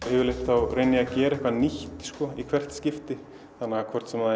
yfirleitt þá reyni ég að gera eitthvað nýtt í hvert skipti hvort sem